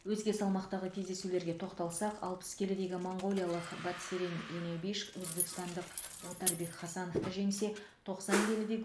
өзге салмақтағы кездесулерге тоқталсақ алпыс келідегі моңғолиялық батцерен енебиш өзбекстандық отарбек хасановты жеңсе тоқсан келіде